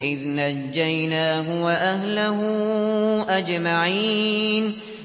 إِذْ نَجَّيْنَاهُ وَأَهْلَهُ أَجْمَعِينَ